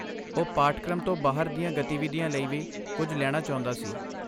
ਉਹ ਪਾਠਕ੍ਰਮ ਤੋਂ ਬਾਹਰ ਦੀਆਂ ਗਤੀਵਿਧੀਆਂ ਲਈ ਵੀ ਕੁਝ ਲੈਣਾ ਚਾਹੁੰਦਾ ਸੀ।